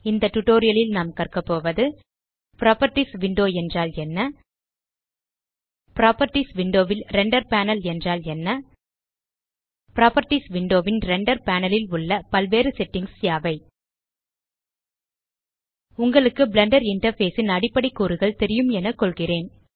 இந்த டியூட்டோரியல் ல் நாம் கற்க போவது புராப்பர்ட்டீஸ் விண்டோ என்றால் என்ன புராப்பர்ட்டீஸ் விண்டோ ல் ரெண்டர் பேனல் என்றால் என்ன புராப்பர்ட்டீஸ் விண்டோ ன் ரெண்டர் பேனல் ல் உள்ள பல்வேறு settingகள் யாவை உங்களுக்கு பிளெண்டர் இன்டர்ஃபேஸ் ன் அடிப்படை கூறுகள் தெரியும் என கொள்கிறேன்